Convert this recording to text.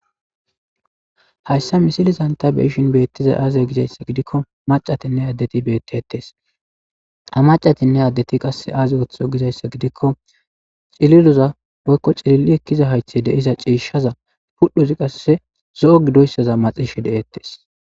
hayssa misilizan ta beishin beettizay aazia gizayssa gidikko macatinne addeti beettetees ha macatinne addeti qasse aaze woththo gizayssa gidikko cililuza woykko cilili ekkiza haythe deiza ciishshaza pudhuzi qasse zo'o gidoyssaza maxishe de'ettes